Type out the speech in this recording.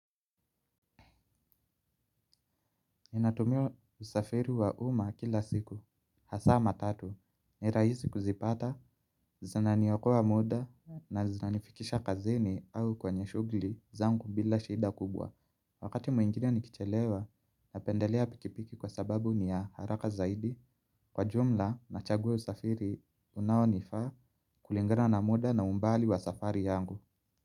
Ninatumia usafiri wa umma kila siku, hasa matatu, ni rahisi kuzipata, zinaniokoa muda na zinanifikisha kazini au kwenye shughuli zangu bila shida kubwa. Wakati mwingine nikichelewa, napendelea pikipiki kwa sababu ni ya haraka zaidi kwa jumla na chaguwa usafiri unaonifaa kulingana na muda na umbali wa safari yangu.